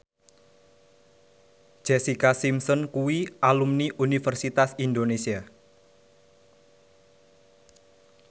Jessica Simpson kuwi alumni Universitas Indonesia